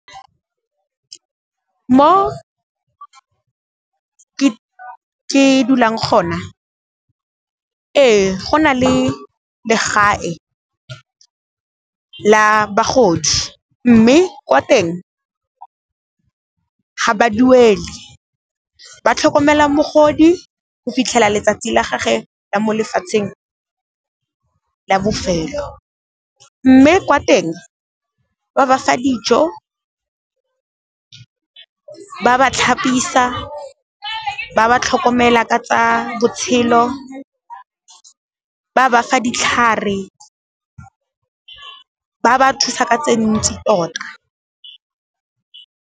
Mo ke dulang kgona ee go na le legae la bagodi, mme kwa teng ga ba duele. Ba tlhokomela mogodi go fitlhela letsatsi la gagwe la mo lefatsheng la bofelo mme kwa teng, ba ba fa dijo, ba ba tlhapisa, ba ba tlhokomela ka tsa botshelo, ba ba fa ditlhare, ba ba thusa ka tse ntsi tota.